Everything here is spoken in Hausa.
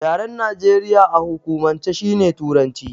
Yaren Najeriya a hukumance shine Turanci.